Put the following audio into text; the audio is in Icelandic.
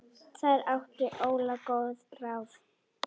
Þar átti Óla góð ár.